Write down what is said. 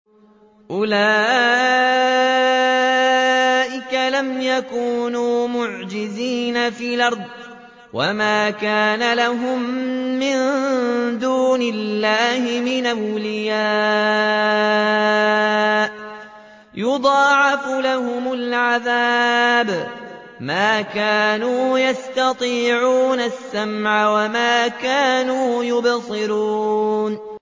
أُولَٰئِكَ لَمْ يَكُونُوا مُعْجِزِينَ فِي الْأَرْضِ وَمَا كَانَ لَهُم مِّن دُونِ اللَّهِ مِنْ أَوْلِيَاءَ ۘ يُضَاعَفُ لَهُمُ الْعَذَابُ ۚ مَا كَانُوا يَسْتَطِيعُونَ السَّمْعَ وَمَا كَانُوا يُبْصِرُونَ